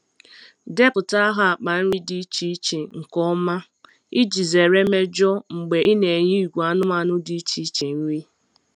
Depụta aha akpa nri dị iche iche nke ọma iji zere mmejọ mgbe ị na-enye ìgwè anụmanụ dị iche iche nri.